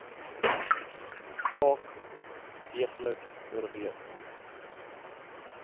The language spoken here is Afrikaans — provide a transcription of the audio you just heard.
saak deeglik oorweeg